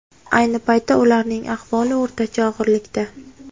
Ayni paytda ularning ahvoli o‘rtacha og‘irlikda.